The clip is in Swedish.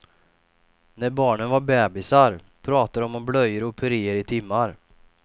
När barnen var bebisar pratade de om blöjor och puréer i timmar.